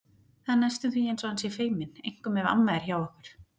Það er næstum því eins og hann sé feiminn, einkum ef amma er hjá okkur.